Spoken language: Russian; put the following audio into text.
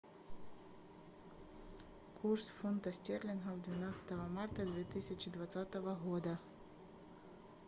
курс фунтов стерлингов двенадцатого марта две тысячи двадцатого года